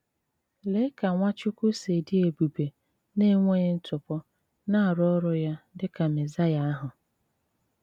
Lèé ka Nwáchùkwù sì dị́ èbùbè na enweghị ntụ̀pọ̀ na-arụ ọrụ́ ya dị́ ka Mèsáíà ahụ̀!